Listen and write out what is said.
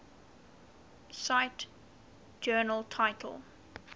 cite journal title